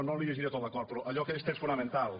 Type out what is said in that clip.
no li llegiré tot l’acord però allò aquells trets fonamentals